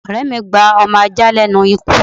Ọ̀rẹ́ mí gba ọmọ ajá lénu ikú